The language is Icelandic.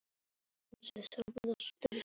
En hvað svo??